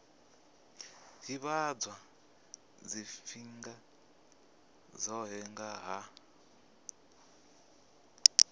ḓivhadzwa tshifhinga tshoṱhe nga ha